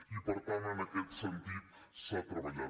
i per tant en aquest sentit s’ha treballat